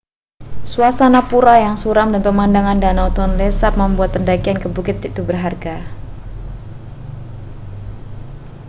suasana pura yang suram dan pemandangan danau tonle sap membuat pendakian ke bukit itu berharga